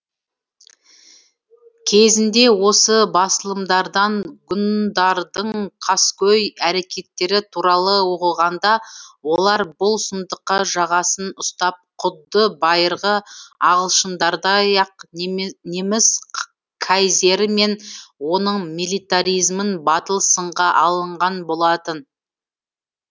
кезінде осы басылымдардан ғұндардың қаскөй әрекеттері туралы оқығанда олар бұл сұмдыққа жағасын ұстап құдды байырғы ағылшындардай ақ неміс кайзері мен оның миллитаризмін батыл сынға алынған болатын